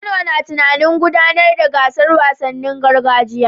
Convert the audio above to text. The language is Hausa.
Kano na tunanin gudanar da gasar wasannin gargajiya